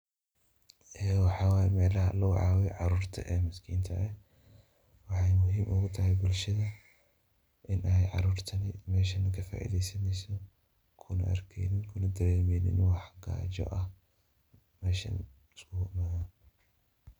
Waxaa waay meelaha logu caawiyo caruurta maskiinta ah. Waxay muhiim u tahay bulshada in ay caruurtani meeshan ka faideysanayso, kuna arkeynin, kuna dareemeynin wax gaajo ah meeshan isku yimaadaan.